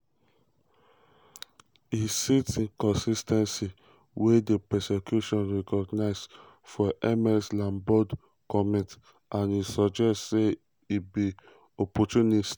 e cite inconsis ten cies - wey di prosecution recognise - for ms lombaard comment and e suggest say e be "opportunist".